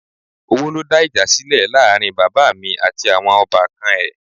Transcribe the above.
Owó ló dá ìjà sílẹ̀ láàrin bàbá mi àti àwọn ọbànkan ẹ̀